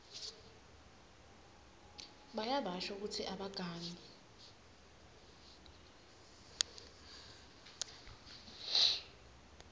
bayabasho kutsi abagangi